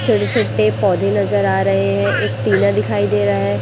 छोटे छोटे पौधे नजर आ रहे हैं एक टीना दिखाई दे रहा है।